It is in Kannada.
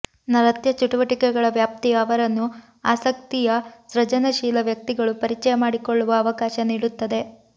ನೃತ್ಯ ಚಟುವಟಿಕೆಗಳ ವ್ಯಾಪ್ತಿಯ ಅವರನ್ನು ಆಸಕ್ತಿಯ ಸೃಜನಶೀಲ ವ್ಯಕ್ತಿಗಳು ಪರಿಚಯ ಮಾಡಿಕೊಳ್ಳುವ ಅವಕಾಶ ನೀಡುತ್ತದೆ